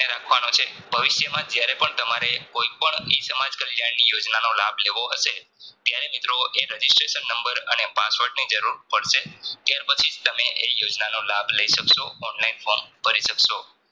રાખવાનો છે ભવિષ્ય્માં જ્યારેપણ તમારે કોઈપણ E સમાજ કલ્યાણની યોજનાનો લાભ લેવો હશે ત્યારે મિત્રો એ Registration નંબર અને password ની જરૂર પડશે ત્યાર પછી જ તમે ઍયોજનાનો લાભ તમે લઇ શકશો Online form ભરી સક્સો